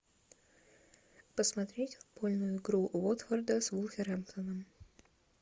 посмотреть футбольную игру уотфорда с вулверхэмптоном